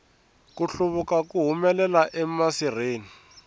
ku hluvula ku humelela emasirheni